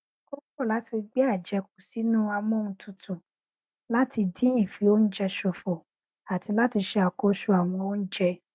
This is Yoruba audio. ó kọ láti gbé àjẹkù sínú amóhuntutù láti dín ìfioúnjẹ ṣòfò àti láti ṣe àkóso ọwọn oúnjẹ